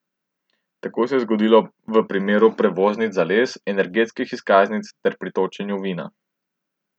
Tako se je zgodilo v primeru prevoznic za les, energetskih izkaznic ter pri točenju vina.